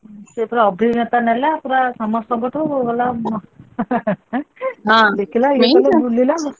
ସେ ପୁରା ଅଭିଜ୍ଞତା ନେଲା ପୁରା ସମସ୍ତଙ୍କଠୁ ପୁରା ଗଲା ହଁ ଦେଖିଲା ।